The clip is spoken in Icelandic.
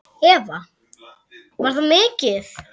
Eva: Var það mikið?